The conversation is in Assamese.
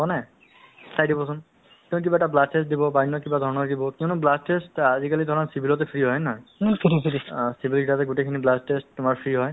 মৃত্যুৰ মুখত পৰি গৈ আছে আজিকালি নমৰে নহয় জানো যে তেওঁলোকৰ কি হয় অ one zero eight eight ৰ ব্যৱস্থা হ'ল one zero two ৰ ব্যৱস্থা হ'ল এতিয়া মানে তোমাৰ